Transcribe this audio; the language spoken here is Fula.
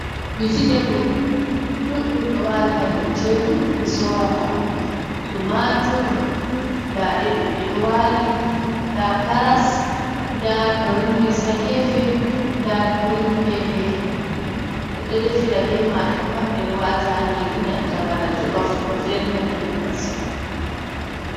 Vejitabul ɗuɗɗum ɗo wali hadow tebul ɓe sorata, tumatur nda ɗeɗo ɗeɗo wali nda karas nda grin bins hagefe, nda gririn pepe ɓeɗo defira be majum woɓɓe ɗo wata nyiri nanta bana jolof ɗo velna nyamdu masin.